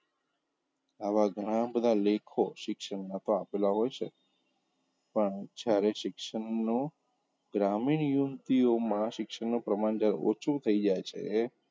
આવા ઘણા બધા લેખો તો શિક્ષણનાં આપેલા હોઈ છે પણ જયારે શિક્ષણનું ગ્રામીણ યુવતીઓમાં શિક્ષણનું પ્રમાણ જયારે ઓછું થઇ જાય છે,